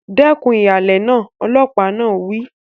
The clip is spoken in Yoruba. Dẹ́kun ìhàlẹ̀ náà! Ọlọ́pàá náà wí.